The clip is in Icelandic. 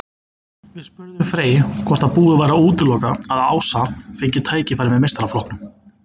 Við spurðum Frey hvort að búið væri að útiloka að Ása fengi tækifæri með meistaraflokknum.